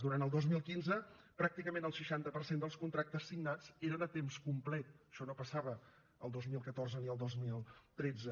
durant el dos mil quinze pràcticament el seixanta per cent dels contractes signats eren a temps complet això no passava el dos mil catorze ni el dos mil tretze